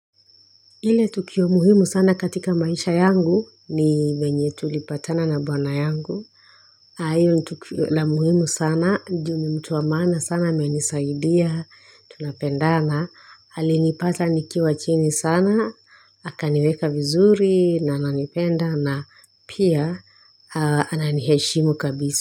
Ile tukio muhimu sana katika maisha yangu ni venye tulipatana na bwana yangu. Hiyo ni tukio la muhimu sana, ju ni mtu wa maana sana amenisaidia, tunapendana, alinipata nikiwa chini sana, akaniweka vizuri na ananipenda na pia ananiheshimu kabisi.